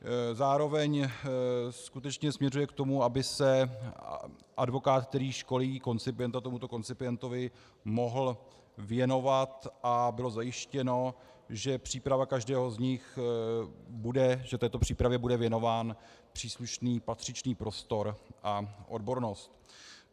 Zároveň skutečně směřuje k tomu, aby se advokát, který školí koncipienta, tomuto koncipientovi mohl věnovat a bylo zajištěno, že příprava každého z nich bude - že této přípravě bude věnován příslušný, patřičný prostor a odbornost.